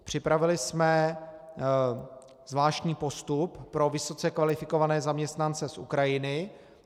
Připravili jsme zvláštní postup pro vysoce kvalifikované zaměstnance z Ukrajiny.